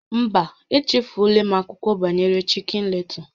Mba, echefuola m akụkọ banyere Chicken Little